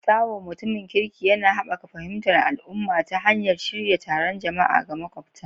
Taiwo, mutumin kirki, yana haɓaka fahimtar al'umma ta hanyar shirya taron jama'a ga makwabta.